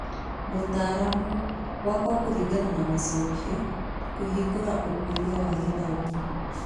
Mũtaaramu - gwakwo kũringana na macokio, Kũhingũra Ũkũria na Gĩthomo